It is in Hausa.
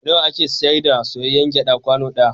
Nawa ake sayar da soyayyr gyaɗa kwano ɗaya?